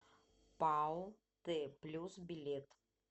пао т плюс билет